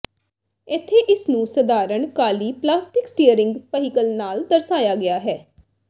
ਇੱਥੇ ਇਸ ਨੂੰ ਸਧਾਰਣ ਕਾਲੀ ਪਲਾਸਟਿਕ ਸਟੀਅਰਿੰਗ ਪਹੀਕਲ ਨਾਲ ਦਰਸਾਇਆ ਗਿਆ ਹੈ